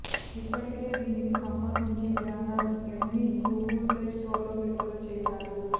ఇప్పటికే దీనికి సంబంధించి బ్యానర్ యాడ్ని గూగుల్ ప్లే స్టోర్లో విడుదల చేశారు